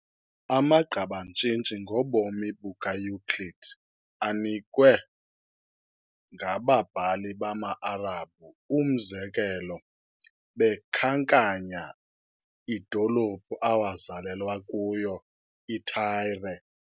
Amagqabantshintshi ngobomi bukaEuclid anikwe ngababhali bamaArabhu, umzekelo, bekhankanya, idolophu awazalelwa kuyo iTyre.